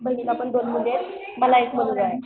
बहिणीला पण दोन मुली आहेत. मला एक मुलगा आहे